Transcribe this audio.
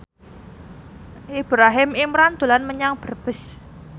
Ibrahim Imran dolan menyang Brebes